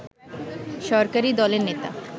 সরকারি দলের নেতা